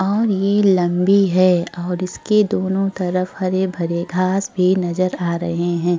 और ये लंबी है और इसके दोनों तरफ हरे-भरे घास भी नजर आ रहे है।